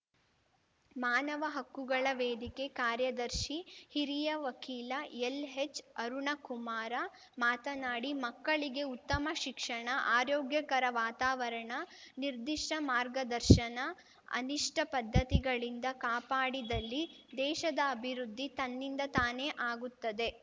ಮಾನವ ಹಕ್ಕುಗಳ ವೇದಿಕೆ ಕಾರ್ಯದರ್ಶಿ ಹಿರಿಯ ವಕೀಲ ಎಲ್‌ಹೆಚ್‌ಅರುಣಕುಮಾರ ಮಾತನಾಡಿ ಮಕ್ಕಳಿಗೆ ಉತ್ತಮ ಶಿಕ್ಷಣ ಆರೋಗ್ಯಕರ ವಾತಾವರಣ ನಿರ್ಧಿಷ್ಟಮಾರ್ಗದರ್ಶನ ಅನಿಷ್ಟಪದ್ಧತಿಗಳಿಂದ ಕಾಪಾಡಿದಲ್ಲಿ ದೇಶದ ಅಭಿವೃದ್ಧಿ ತನ್ನಿಂದ ತಾನೇ ಆಗುತ್ತದೆ